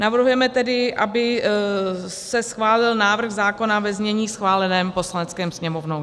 Navrhujeme tedy, aby se schválil návrh zákona ve znění schváleném Poslaneckou sněmovnou.